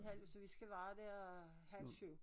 Halv så vi skal være der halv 7